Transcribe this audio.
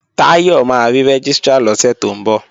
Táyọ̀ máa rí Rẹ́gístrà lọ́sẹ̀ tó ń bọ̀